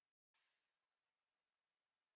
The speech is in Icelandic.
Ég stend með þér.